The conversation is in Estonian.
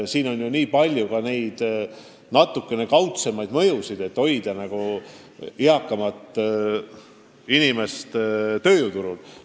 Nii et tuleb arvestada mitmesuguseid tegureid, et eakamat inimest tööjõuturul hoida.